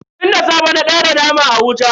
Tun da safe na daura naman a wuta.